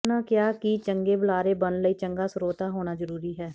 ਉਨ੍ਹਾਂ ਕਿਹਾ ਕਿ ਚੰਗੇ ਬੁਲਾਰੇ ਬਣਨ ਲਈ ਚੰਗਾ ਸਰੋਤਾ ਹੋਣਾ ਜ਼ਰੂਰੀ ਹੈ